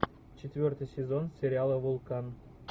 четвертый сезон сериала вулкан